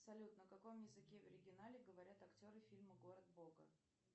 салют на каком языке в оригинале говорят актеры фильма город бога